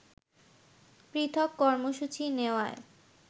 পৃথক কর্মসূচি নেওয়ায়